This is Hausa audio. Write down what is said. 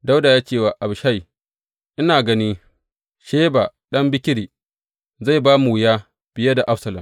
Dawuda ya ce wa Abishai, Ina gani Sheba ɗan Bikri zai ba mu wuya fiye da Absalom.